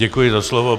Děkuji za slovo.